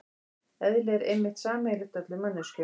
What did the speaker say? Eðli er einmitt sameiginlegt öllum manneskjum.